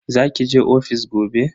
Za ki je ofis gobe?